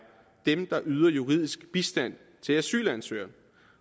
dem der yder juridisk bistand til asylansøgere